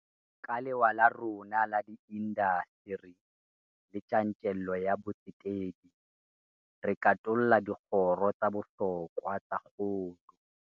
Ka lewa la rona la diindasteri le tjantjello ya botsetedi, re katolla dikgoro tsa bohlokwa tsa kgolo.